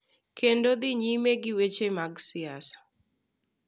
Kendo dhi nyime gi weche mag siasa.